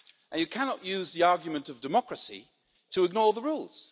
You cannot use the argument of democracy to ignore the rules.